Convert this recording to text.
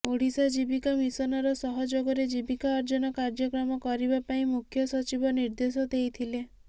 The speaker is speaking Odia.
ଓଡ଼ିଶା ଜୀବିକା ମିସନର ସହଯୋଗରେ ଜୀବିକା ଅର୍ଜନ କାର୍ଯ୍ୟକ୍ରମ କରିବା ପାଇଁ ମୁଖ୍ୟ ସଚିବ ନିର୍ଦେଶ ଦେଇଥିଲେ